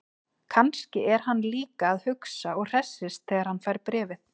Kannski er hann líka að hugsa og hressist þegar hann fær bréfið.